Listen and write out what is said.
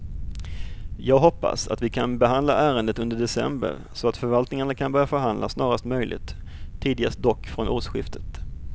Jag hoppas att vi kan behandla ärendet under december så att förvaltningarna kan börja förhandla snarast möjligt, tidigast dock från årsskiftet.